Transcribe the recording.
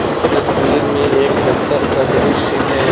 इस तस्वीर में एक दफ्तर का दृश्य है।